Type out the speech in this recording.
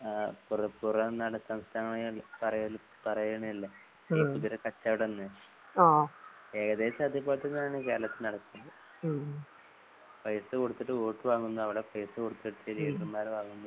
ആ പുറ പുറന്നാട് സംസ്ഥാനങ്ങളിൽ പറയിൽ പറയണയല്ലേ കുതിര കച്ചോടന്ന് ഏകദേശമതുപോലെത്തെതാണ് കേരളത്തിനകത്തും പൈസകൊടുത്തിട്ട് വോട്ട് വാങ്ങുന്നു അവിടെ പൈസകോടുത്തിട്ട് വാങ്ങുന്നു.